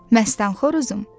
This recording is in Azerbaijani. Məstan xoruzum,